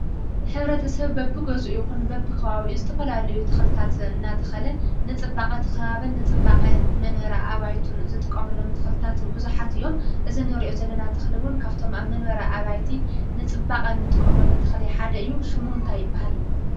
ሕብረተሰብ በቢገዝኡ ይኹን በቢከባብኡ ተኽልታት እንዳተኸለ ንፅባቐ ከባብን ንፅባቐ መንበሪ ኣባይትን ዝጥቀምሎም ተኽልታት ብዙሓት እዮም። እዚ እንሪኦ ዘለና ተኽሊ እውን ካብቶም ኣብ መንበሪ ኣባይቲ ንፅባቐን እንጥቀመሉ ተክሊ ሓደ እዩ። ሽሙ እንታይ ይበሃል ?